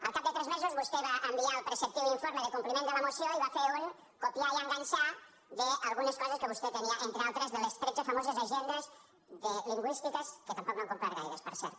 al cap de tres mesos vostè va enviar el preceptiu informe de compliment de la moció i va fer un copiar i enganxar d’algunes coses que vostè tenia entre altres de les tretze famoses agendes lingüístiques que tampoc no n’han complert gaires per cert